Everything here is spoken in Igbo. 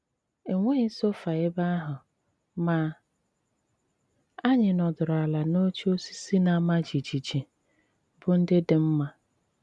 E nwéghị sôfà ebe àhụ, mà ànyị̀ nọdùrù àlà n’òchè òsìsì na-àmá jìjìjì, bụ́ ndị dị mma.